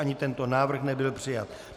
Ani tento návrh nebyl přijat.